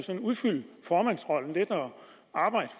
udfylde formandsrollen lidt